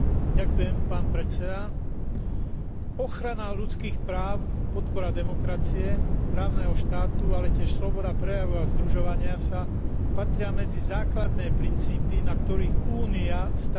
Ochrana ľudských práv, podpora demokracie, právneho štátu, ale tiež sloboda prejavu a združovania sa patria medzi základné princípy, na ktorých Únia stavia politiku voči svojim partnerom.